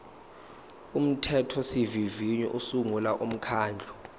umthethosivivinyo usungula umkhandlu